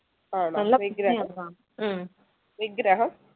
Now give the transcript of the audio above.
ആണോ വിഗ്രഹം